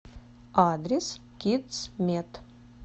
адрес кидсмед